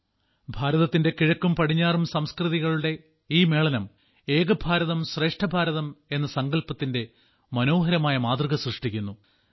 ഒരാള്ച നീളുന്ന ഭാരതത്തിന്റെ കിഴക്കും പടിഞ്ഞാറും സംസ്കൃതികളുടെ ഈ മേളനം ഏക ഭാരതം ശ്രേഷ്ഠ ഭാരതം എന്ന സങ്കല്പ്പത്തിന്റെ മനോഹരമായ മാതൃക സൃഷ്ടിക്കുന്നു